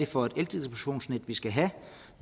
for et eldistributionsnet vi skal have